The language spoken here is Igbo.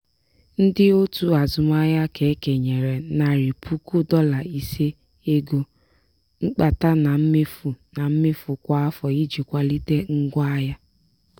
ndị otu azụmaahịa ka e kenyere narị puku dọla ise ego mkpata na mmefu na mmefu kwa afọ iji kwalite ngwa ahịa.